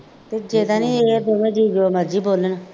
ਤਾਂ ਨਹੀਂ ਇਹ ਦੋਵੇਂ ਜੀਅ ਜੋ ਮਰਜ਼ੀ ਬੋਲਣ